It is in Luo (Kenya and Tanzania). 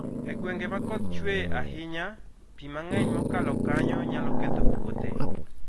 E gwenge ma koth chue ahinya, pi mang'eny mokalo kanyo nyalo ketho puothe.